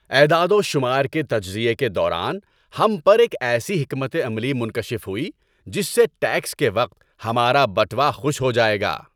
اعداد و شمار کے تجزیے کے دوران، ہم پر ایک ایسی حکمت عملی منکشف ہوئی جس سے ٹیکس کے وقت ہمارا بٹوا خوش ہو جائے گا!